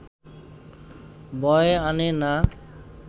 বয়ে আনে না